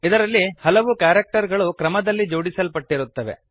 ಇದರಲ್ಲಿ ಹಲವು ಕ್ಯಾರೆಕ್ಟರ್ ಗಳು ಕ್ರಮದಲ್ಲಿ ಜೋಡಿಸಲ್ಪಟ್ಟಿರುತ್ತವೆ